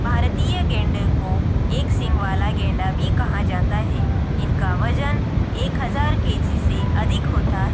भारतीय गैंडे को एक सींग वाला गैंडा भी कहा जाता है इनका वजन एक हजार के_जी से अधिक होता--